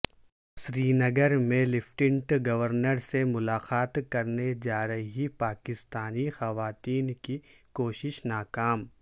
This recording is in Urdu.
سری نگر میں لیفٹننٹ گورنر سے ملاقات کرنے جارہی پاکستانی خواتین کی کوشش ناکام